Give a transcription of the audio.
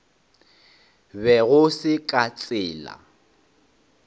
be go se ka tsela